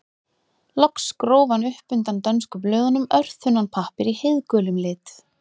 Loks gróf hann upp undan dönsku blöðunum örþunnan pappír í heiðgulum lit.